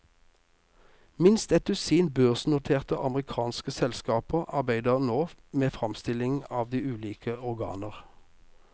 Minst et dusin børsnoterte amerikanske selskaper arbeider nå med fremstilling av de ulike organer.